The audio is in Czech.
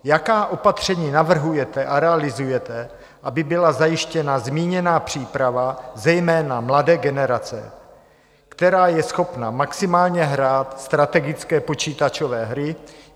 Jaká opatření navrhujete a realizujete, aby byla zajištěna zmíněná příprava, zejména mladé generace, která je schopna maximálně hrát strategické počítačové hry?